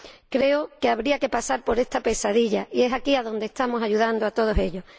Creo que habría que pasar por esta pesadilla y es aquí donde estamos ayudando a todos ellos.